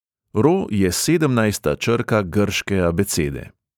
Ro je sedemnajsta črka grške abecede.